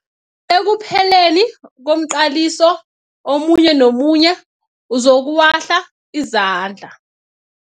Ekupheleni komqaliso omunye nomunye uzokuwahla izandla.